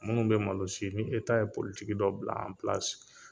Minnu bɛ malo si, ni ye politiki dɔ bila